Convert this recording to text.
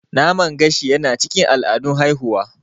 Naman gashi yana cikin al'adun haihuwa.